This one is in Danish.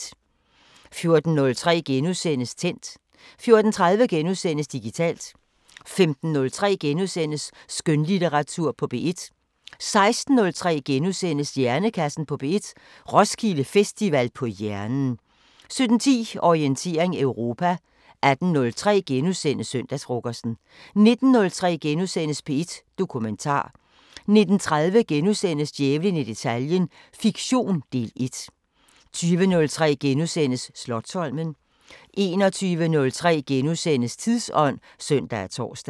14:03: Tændt * 14:30: Digitalt * 15:03: Skønlitteratur på P1 * 16:03: Hjernekassen på P1: Roskilde Festival på hjernen * 17:10: Orientering Europa 18:03: Søndagsfrokosten * 19:03: P1 Dokumentar * 19:30: Djævlen i detaljen – fiktion, del 1 * 20:03: Slotsholmen * 21:03: Tidsånd *(søn og tor)